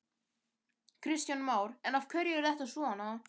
Kristján Már: En af hverju er þetta svona?